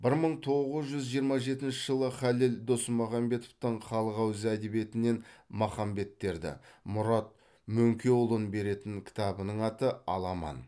бір мың тоғыз жүз жиырма жетінші жылы халел досмұхамедовтің халық ауыз әдебиетінен махамбеттерді мұрат мөңкеұлын беретін кітабының аты аламан